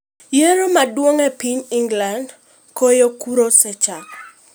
Yiero maduong' e piny England: Goyo kura osechako.